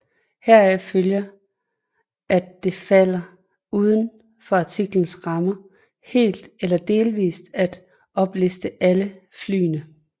Heraf følger at det falder uden for artiklens rammer helt eller delvis at opliste alle flyene